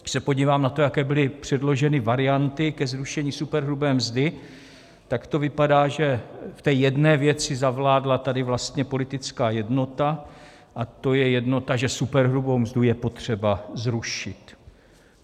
Když se podívám na to, jaké byly předloženy varianty ke zrušení superhrubé mzdy, tak to vypadá, že v té jedné věci zavládla tady vlastně politická jednota, a to je jednota, že superhrubou mzdu je potřeba zrušit.